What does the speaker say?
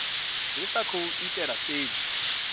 ri sa khou itela fhedzi